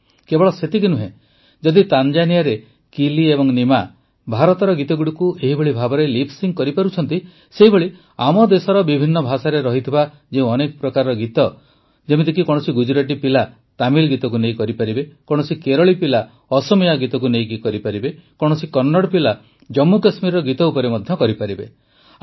କେବଳ ସେତିକି ନୁହେଁ ଯଦି ତାଞ୍ଜାନିଆରେ କିଲି ଏବଂ ନିମା ଭାରତର ଗୀତଗୁଡ଼ିକୁ ଏହିଭଳି ଭାବରେ ଲିପ୍ ସିଙ୍କ୍ କରିପାରୁଛନ୍ତି ସେହିଭଳି ଆମ ଦେଶର ବିଭିନ୍ନ ଭାଷାରେ ଥିବା ଯେଉଁ ଅନେକ ପ୍ରକାରର ଗୀତକୁ ଯେମିତିକି କୌଣସି ଗୁଜୁରାଟୀ ପିଲା ତାମିଲ ଗୀତକୁ ନେଇ କରନ୍ତୁ କୌଣସି କେରଳୀ ପିଲା ଅସମୀୟା ଗୀତକୁ ନେଇ କରନ୍ତୁ କୌଣସି କନ୍ନଡ଼ ପିଲା ଜମ୍ମୁ କଶ୍ମୀରର ଗୀତ ଉପରେ ମଧ୍ୟ କରିପାରିବେ